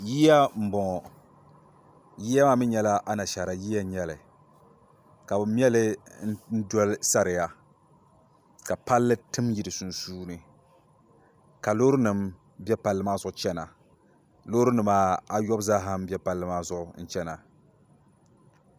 yiya m-bɔŋɔ yiya maa mi nyɛla anashaara yiya n-nyɛ li ka bɛ me li n doli sariya ka palli tim n-yi di sunsuuni ka loorinima be palli maa zuɣu n-chana loorinima ayobu zaa m-be palli maa zuɣu n-chana